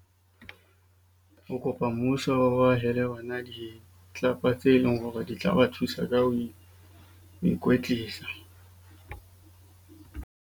O kopa mmuso, o ahele bana tse leng hore di tla ba thusa ka ho ikwetlisa.